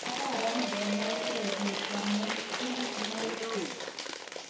Kararan ko nakeng pik,"kamwa Chris Mauki.